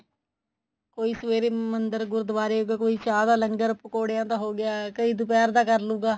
ਕੋਈ ਸਵੇਰੇ ਮੰਦਰ ਗੁਰਦੁਆਰੇ ਕੋਈ ਚਾਹ ਦਾ ਲੰਗਰ ਪਕੋੜਿਆ ਦਾ ਹੋ ਗਿਆ ਕਈ ਦੁਪਹਿਰ ਦਾ ਕਰਲੂਗਾ